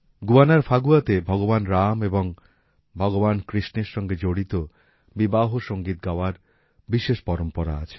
গুয়ানার ফাগুয়াতে ভগবান রাম এবং ভগবান কৃষ্ণের সঙ্গে জড়িত বিবাহ সঙ্গীত গাওয়ার বিশেষ পরম্পরা আছে